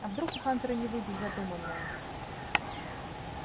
а вдруг у хантера не выйдет задуманное